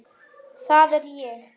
Það er ég.